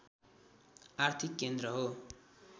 आर्थिक केन्द्र हो